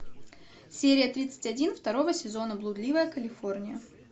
серия тридцать один второго сезона блудливая калифорния